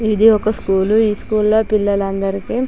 ఇది ఒక స్కూలు . ఈ స్కూల్ లో పిల్లలందరికీ--